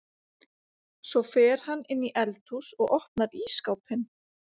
Svo fer hann inn í eldhús og opnar ísskápinn.